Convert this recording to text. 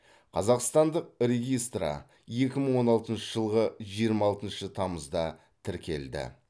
қазақстандық регистры екі мың он алтыншы жылғы жиырма алтыншы тамызда тіркелді